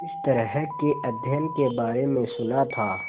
इस तरह के अध्ययन के बारे में सुना था